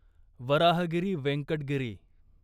Varahagiri Venkata Giri